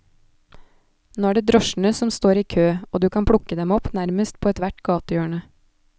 Nå er det drosjene som står i kø, og du kan plukke dem opp nærmest på ethvert gatehjørne.